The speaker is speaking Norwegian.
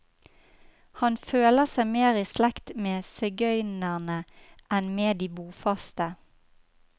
Han føler seg mer i slekt med sigøynerne enn med de bofaste.